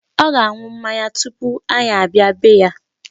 Ọ ga-aṅụ mmanya tupu anyị abịa bee ya.